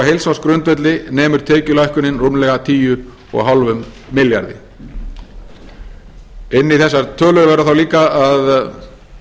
fimm milljarðar króna og á heilsársgrundvelli nemur tekjulækkunin rúmlega tíu fimm milljarði inn í þessar tölur verður þá líka að